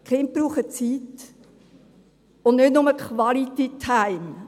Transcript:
Kinder brauchen Zeit, und nicht nur «Quality time»;